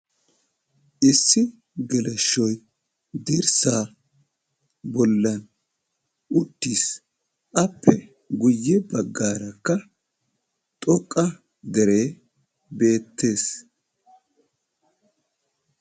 Issi geleshshoy dirssaa bollan uttis. Appe guyye baggaarakka xoqqa deree beettees.